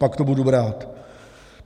Pak to budu brát.